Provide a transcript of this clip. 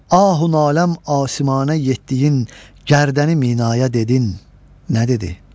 Ahü naləm asimana yetdiyin gördəni minaya dedin nə dedi?